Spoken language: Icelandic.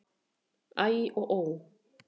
Æ og ó!